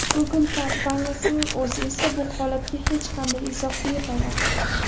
Google kompaniyasining o‘zi esa bu holatga hech qanday izoh bermayapti.